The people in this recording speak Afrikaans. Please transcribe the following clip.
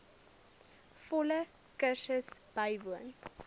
volle kursus bywoon